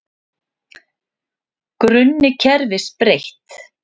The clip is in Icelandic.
Grunni kerfis breytt